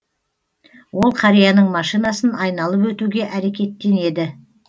ол қарияның машинасын айналып өтуге әрекеттенеді